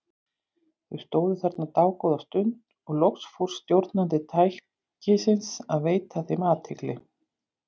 Þau stóðu þarna dágóða stund og loks fór stjórnandi tækisins að veita þeim athygli.